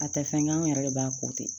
A tɛ fɛn kɛ anw yɛrɛ de b'a ko ten